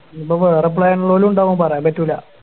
ഇനീപ്പോ വേറെ Plan ഇള്ളോലും ഇണ്ടാവും പറയാൻ പറ്റൂല